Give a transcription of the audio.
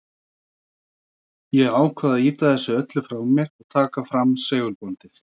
Ég ákvað að ýta þessu öllu frá mér og taka fram segulbandið.